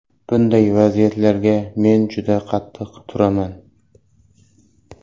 Bunday vaziyatlarga men juda qattiq turaman.